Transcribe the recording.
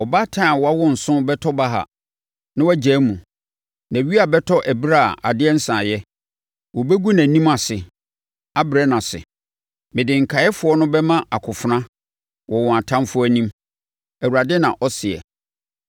Ɔbaatan a wawo nson bɛtɔ baha, na wagyae mu. Nʼawia bɛtɔ ɛberɛ a adeɛ nsaeɛ; wɔbɛgu nʼanim ase abrɛ no ase. Mede nkaeɛfoɔ no bɛma akofena wɔ wɔn atamfoɔ anim,” Awurade na ɔseɛ.